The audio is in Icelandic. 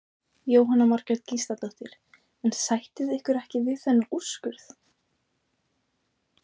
Jóhanna Margrét Gísladóttir: En sættið ykkur ekki við þennan úrskurð?